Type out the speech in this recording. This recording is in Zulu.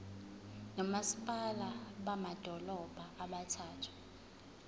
nomasipala bamadolobha abathathu